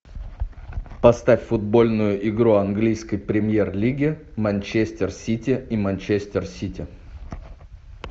поставь футбольную игру английской премьер лиги манчестер сити и манчестер сити